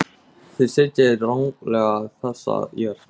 Þið sitjið ranglega þessa jörð.